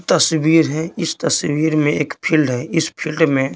तस्वीर है इस तस्वीर में एक फील्ड है इस फील्ड में--